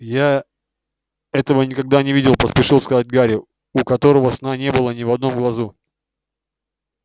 я этого никогда не видел поспешил сказать гарри у которого сна не было ни в одном глазу